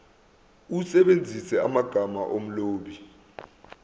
usebenzise amagama omlobi